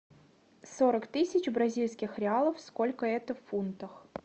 сорок тысяч бразильских реалов сколько это в фунтах